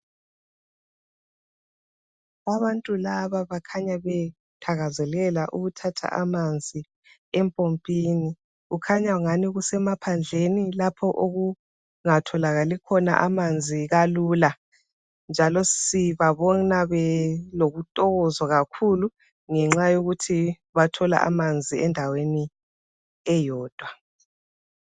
Abantu laba bakhanya bethakazelela ukuthatha amanzi empompini Kukhanya kungani kusemaphandleni lapho okungatholakali khona amanzi kalula njalo sibabona belokuthokoza kakhulu ngenxa yokuthi bathola amanzi endaweni eyodwa